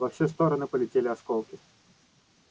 во все стороны полетели осколки